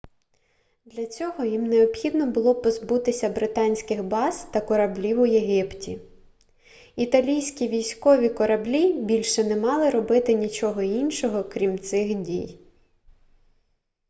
для цього їм необхідно було позбутися британських баз та кораблів у єгипті італійські військові кораблі більше не мали робити нічого іншого крім цих дій